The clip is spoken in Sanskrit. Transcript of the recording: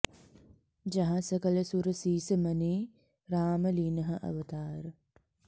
जहाँ सकल सुर सीस मनि राम लीन्ह अवतार